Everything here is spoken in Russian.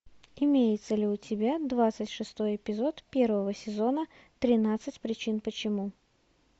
имеется ли у тебя двадцать шестой эпизод первого сезона тринадцать причин почему